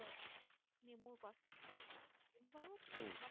অকমাণ উম